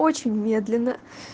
очень медленно